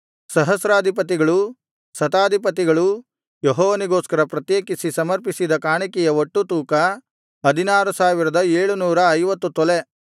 ಸಹಸ್ರಾಧಿಪತಿಗಳೂ ಶತಾಧಿಪತಿಗಳೂ ಯೆಹೋವನಿಗೋಸ್ಕರ ಪ್ರತ್ಯೇಕಿಸಿ ಸಮರ್ಪಿಸಿದ ಕಾಣಿಕೆಯ ಒಟ್ಟು ತೂಕ 16750 ತೊಲೆ